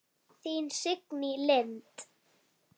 Þín Signý Lind.